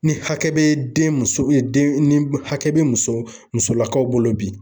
Ni hakɛ bɛ denmuso den ni hakɛ bɛ muso musolakaw bolo bi